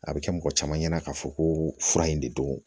A bɛ kɛ mɔgɔ caman ɲɛna k'a fɔ ko fura in de don